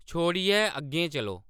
छोड़ियै अग्गें चलो